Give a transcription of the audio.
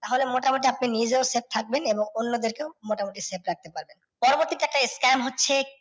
তাহলে মোটামুটি আপনি নিজেও safe থাকবেন এবং অন্যদেরকেও মোটামুটি safe রাখতে পারবেন। পরবর্তীতে একটা scam হচ্ছে